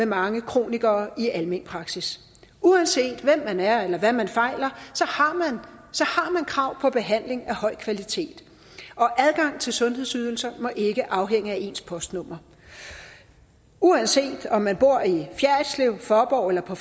mange kronikere i almen praksis uanset hvem man er eller hvad man fejler har man krav på behandling af høj kvalitet og adgang til sundhedsydelser må ikke afhænge af ens postnummer uanset om man bor i fjerritslev i faaborg eller på